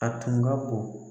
A tun ka bon.